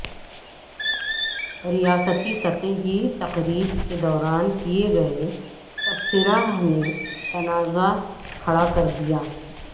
ریاستی سطح کی تقریب کے دوران کئے گئے تبصرہ نے تنازعہ کھڑا کردیا